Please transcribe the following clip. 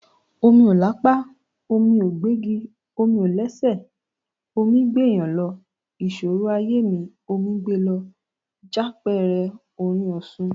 "Omi ò lápá, omí gbégi, omi ò lẹ́sẹ̀, omí gbéèyàn lọ, ìṣòro ayé mi, omí gbe lọ," jápẹẹrẹ orin Òṣun.